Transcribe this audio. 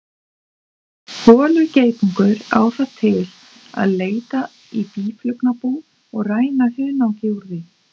Holugeitungur á það til að leita í býflugnabú og ræna hunangi úr því.